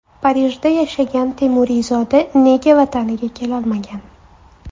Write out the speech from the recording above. Parijda yashagan temuriyzoda nega Vataniga kelolmagan?.